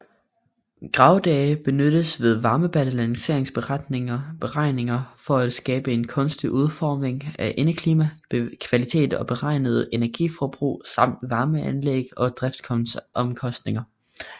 Graddage benyttes ved varmebalanceberegninger for at skabe en gunstig udformning af indeklima kvalitet og beregne energiforbrug samt varmeanlæg og driftsomkostninger